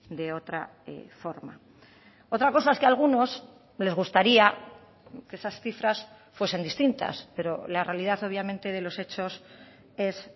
de otra forma otra cosa es que algunos les gustaría que esas cifras fuesen distintas pero la realidad obviamente de los hechos es